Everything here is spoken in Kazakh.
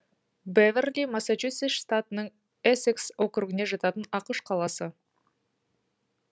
бэверли массачусетс штатының эссекс округіне жататын ақш қаласы